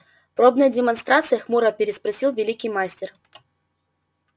пробная демонстрация хмуро переспросил великий мастер